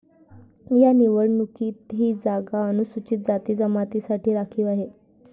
या निवडणुकीत ही जागा अनुसूचित जातीजमातींसाठी राखीव आहे.